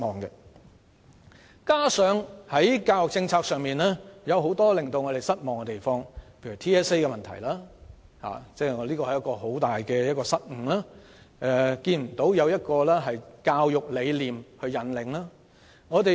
此外，在教育政策上亦有很多令我們失望之處，例如 TSA 的問題，屬一大失誤，缺乏教育理念引領。